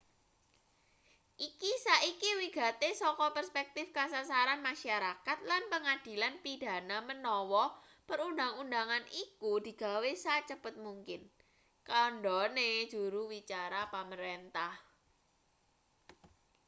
"iki saiki wigati saka perspektif kasarasan masyarakat lan pengadilan pidana menawa perundang-undangan iku digawe sacepet mungkin kandhane juru wicara pamarentah.